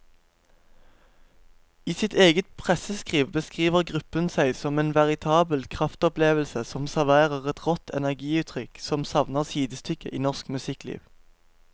I sitt eget presseskriv beskriver gruppen seg som en veritabel kraftopplevelse som serverer et rått energiutrykk som savner sidestykke i norsk musikkliv.